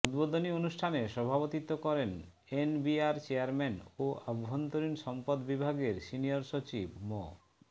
উদ্বোধনী অনুষ্ঠানে সভাপতিত্ব করেন এনবিআর চেয়ারম্যান ও অভ্যন্তরীণ সম্পদ বিভাগের সিনিয়র সচিব মো